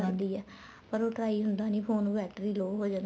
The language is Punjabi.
ਕਰਦੀ ਏ ਪਰ ਉਹ try ਹੁੰਦਾ ਨਹੀਂ phone ਉਹ battery low ਹੋ ਜਾਂਦੀ ਏ